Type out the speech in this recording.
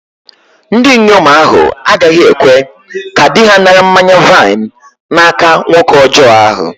Ndinyom ahu agaghi-ekwe ka di-ha nara mmanya-vaịn n'aka nwoke ọjọ ahu